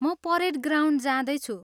म parade ground जाँदैछु।